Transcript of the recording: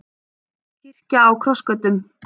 Kirkja á krossgötum